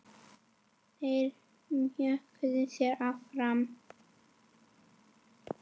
Þeir mjökuðu sér áfram.